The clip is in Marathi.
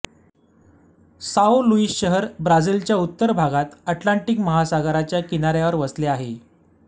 साओ लुईस शहर ब्राझीलच्या उत्तर भागात अटलांटिक महासागराच्या किनाऱ्यावर वसले आहे